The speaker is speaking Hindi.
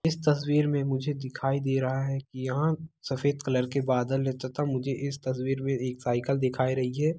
इस तस्वीर मे मुझे दिखाई दे रहा है की यहाँ सफेद कलर के बदल तथा मुझे इस तस्वीर मे एक साइकल दिखाई रही है।